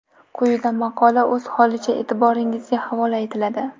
Quyida maqola o‘z holicha e’tiboringizga havola etiladi.